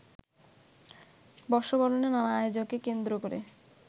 বর্ষবরণের নানা আয়োজনকে কেন্দ্র করে